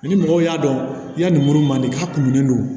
Ni mɔgɔw y'a dɔn yanni mun man di k'a kumuni don